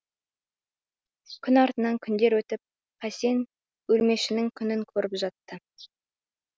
күн артынан күндер өтіп қасен өлмешінің күнін көріп жатты